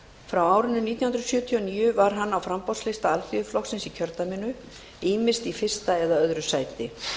frá árinu nítján hundruð sjötíu og níu var hann á framboðslista alþýðuflokksins í kjördæminu ýmist í fyrsta eða öðru sæti